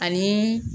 Ani